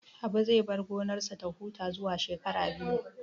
Habu zai bar gonarsa ta huta zuwa shekara biyu